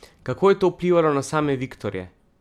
Kako je to vplivalo na same Viktorje?